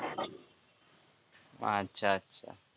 अच्छा अच्छा